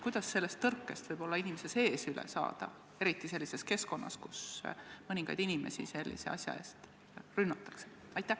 Kuidas sellest tõrkest inimese sees üle saada, eriti sellises keskkonnas, kus mõningaid sellise asja eest rünnatakse?